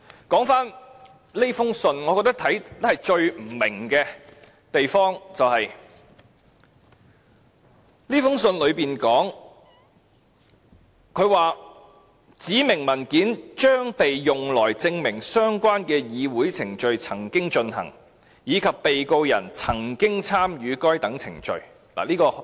說回這封信，我最不明白的地方是，信裏面說，"指明文件將被用來證明相關的議會程序曾經進行，以及被告人曾經參與該等程序"。